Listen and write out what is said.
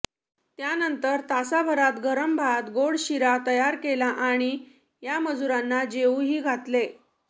त्यानंतर तासाभरात गरम भात व गोड शिरा तयार केला आणि या मजुरांना जेऊही घातले